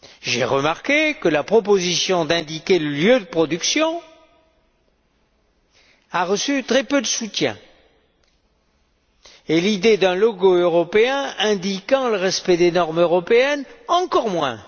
J'ai remarqué que la proposition d'indiquer le lieu de production a reçu très peu de soutien, et l'idée d'un logo européen indiquant le respect des normes européennes, encore moins.